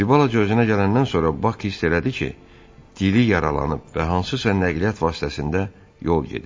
Bir balaca özünə gələndən sonra Bak hiss elədi ki, dili yaralanıb və hansısa nəqliyyat vasitəsində yol gedir.